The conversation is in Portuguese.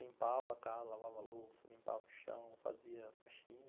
Limpava a casa, lavava a louça, limpava o chão, fazia faxina.